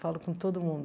Falo com todo mundo.